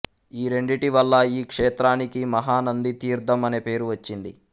ఈ రెండిటివల్ల ఈ క్షేత్రానికి మహానంది తీర్ధము అనే పేరు వచ్చింది